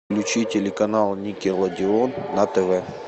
включи телеканал никелодеон на тв